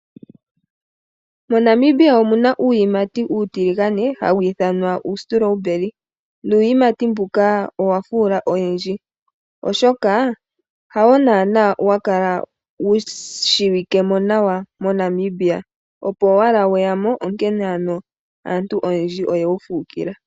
MoNamibia omuna uuyimati uutiligane hawu ithanwa uustrawberry, nuuyimati mbuka owafuula oyendji, oshoka hawo naanaa wakala wushiwike mo nawa moNamibia opo weyamo onkene ano oyendji oye wufuukila.